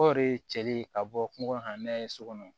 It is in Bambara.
O de ye cɛli ka bɔ kungo kɔnɔ ka n'a ye so kɔnɔ